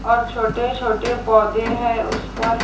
और छोटे छोटे पौधे हैं उस पर।